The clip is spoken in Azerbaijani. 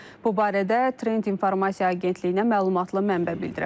Bu barədə Trend İnformasiya Agentliyinə məlumatlı mənbə bildirib.